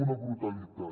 una brutalitat